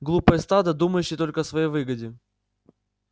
глупое стадо думающее только о своей выгоде